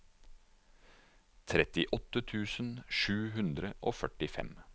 trettiåtte tusen sju hundre og førtifem